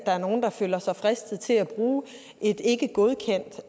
er nogle der føler sig fristet til at bruge et ikkegodkendt